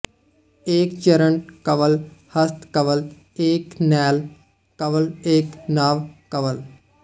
ਏਕ ਚਰਨ ਕਵਲ ਹਸਤ ਕਵਲ ਏਕ ਨੈਲ ਕਵਲ ਏਕ ਨਾਭ ਕਵਲ